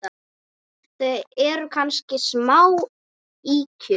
Það eru kannski smá ýkjur.